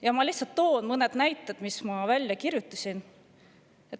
Ma toon lihtsalt mõned näited, mis ma olen välja kirjutanud.